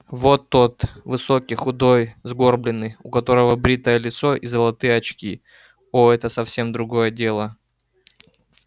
вот тот высокий худой сгорбленный у которого бритое лицо и золотые очки о это совсем другое дело